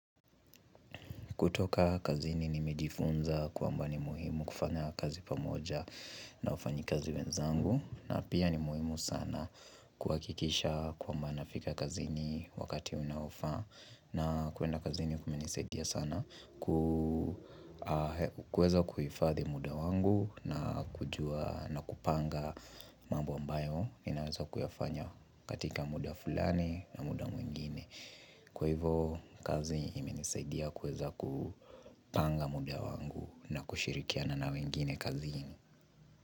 Kutoka kazini nimejifunza kwamba ni muhimu kufanya kazi pamoja na ufanyikazi wenzangu na pia ni muhimu sana kuhakikisha kwamba nafika kazini wakati unaoafa na kwenda kazini kuminisaidia sana kuweza kuhifadhi muda wangu na kupanga mambo ambayo inaweza kuyafanya katika muda fulani na muda mwingine Kwa hivo kazi imenisaidia kuweza kupanga muda wangu na kushirikiana na wengine kazini.